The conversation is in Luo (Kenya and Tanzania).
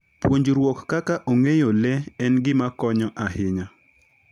Puonjruok kaka ong'eyo le en gima konyo ahinya.